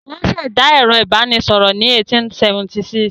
Wọ́n ṣẹ̀dá ẹ̀rọ ìbanisọ̀rọ̀ ní 1876.